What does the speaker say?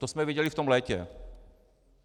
To jsme viděli v tom létě.